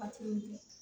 Hakili